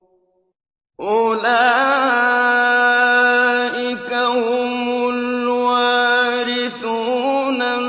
أُولَٰئِكَ هُمُ الْوَارِثُونَ